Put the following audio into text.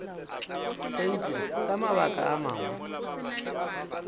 eupša ka mabaka a mangwe